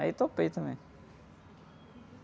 Aí eu topei também.